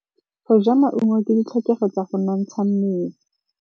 Go ja maungo ke ditlhokegô tsa go nontsha mmele.